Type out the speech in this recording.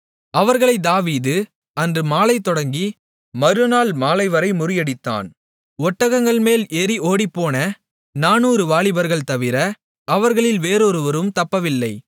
அவர்களைத் தாவீது அன்று மாலைதொடங்கி மறுநாள் மாலை வரை முறியடித்தான் ஒட்டகங்கள் மேல் ஏறி ஓடிப்போன 400 வாலிபர்கள் தவிர அவர்களில் வேறொருவரும் தப்பவில்லை